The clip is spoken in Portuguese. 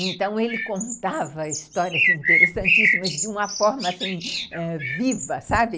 Então, ele contava histórias, assim, interessantíssimas, de uma forma, assim, ãh, viva, sabe?